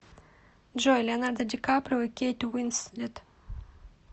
джой леонардо ди каприо и кейт уинслет